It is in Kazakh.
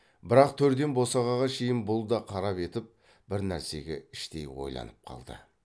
бірақ төрден босағаға шейін бұл да қарап етіп бір нәрсеге іштей ойланып қалды